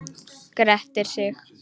Grettir sig.